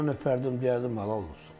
Alnından öpərdim, deyərdim halal olsun.